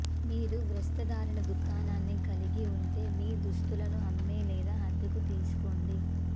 మీరు వస్త్రధారణ దుకాణాన్ని కలిగి ఉంటే మీ దుస్తులను అమ్మే లేదా అద్దెకు తీసుకోండి